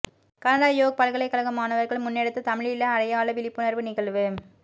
Canada York பல்கலைகழக மாணவர்கள் முன்னெடுத்த தமிழீழ அடையாள விழிப்புணர்வு நிகழ்வு